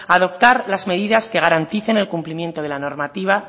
adoptar las medidas que garanticen el cumplimiento de la normativa